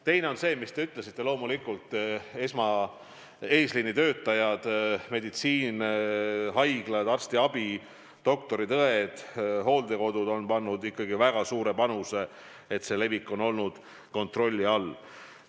Teine tegur on loomulikult see, et eesliini töötajad – meditsiin, haiglad, arstiabi, doktorid, õed, hooldekodud – on andnud väga suure panuse, et viiruse levik on olnud kontrolli all.